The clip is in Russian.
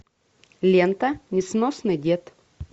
лента несносный дед